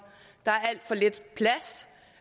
der